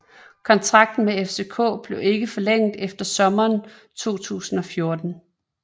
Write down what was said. Kontrakten med FCK blev ikke forlænget efter sommeren 2014